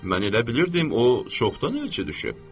Mən elə bilirdim o çoxdan elçə düşüb.